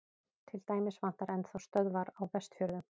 til dæmis vantar enn þá stöðvar á vestfjörðum